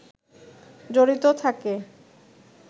জড়িত থাকে